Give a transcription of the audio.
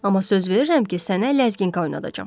Amma söz verirəm ki, sənə ləzginka oynadacam.